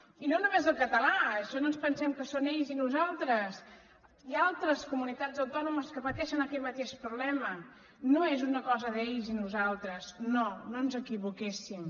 i no només el català en això no ens pensem que són ells i nosaltres hi ha altres comunitats autònomes que pateixen aquest mateix problema no és una cosa d’ells i nosaltres no no ens equivoquéssim